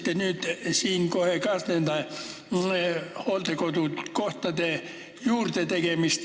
Te puudutasite siin hooldekodukohtade juurdetegemist.